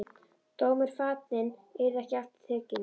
Dómur fallinn, yrði ekki aftur tekinn.